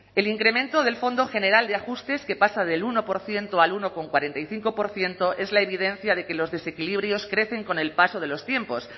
el incremento del fondo general de ajustes que pasa del uno por ciento al uno coma cuarenta y cinco por ciento es la evidencia de que los desequilibrios crecen con el paso de los tiempos